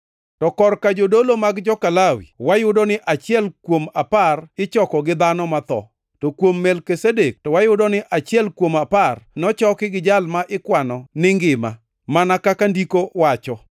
To korka jodolo mag joka Lawi wayudo ni achiel kuom apar ichoko gi dhano matho; to kuom Melkizedek to wayudo ni achiel kuom apar nochoki gi jal ma ikwano ni ngima, mana kaka ndiko wacho.